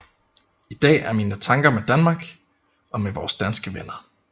I dag er mine tanker med Danmark og med vores danske venner